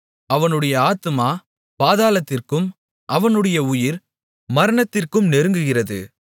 அவனுடைய ஆத்துமா பாதாளத்திற்கும் அவனுடைய உயிர் மரணத்திற்கும் நெருங்குகிறது